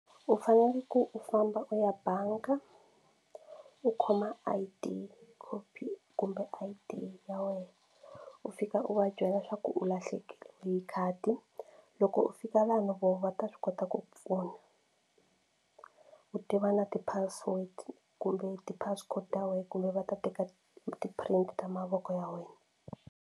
U fanele ku u famba u ya bangi u khoma I_D copy kumbe I_D ya wena u fika u va byela swa ku u lahlekele hi khadi loko u fika laha vona va ta swi kota ku pfuna ku tiva na ti-password kumbe ti-passcode ta wena kumbe va ta teka ti-print ta mavoko ya wena.